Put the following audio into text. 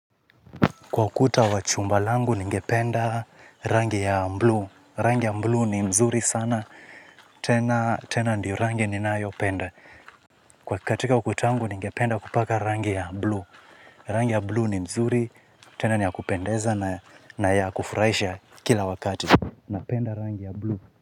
Kwa ukuta wa chumba langu ninge penda rangi ya bluu, rangi ya bluu ni mzuri sana, tena ndiyo rangi ninayopenda. Kwa katika ukuta wangu ningependa kupaka rangi ya bluu, rangi ya bluu ni mzuri, tena ni ya kupendeza na ya kufuraisha kila wakati, napenda rangi ya bluu.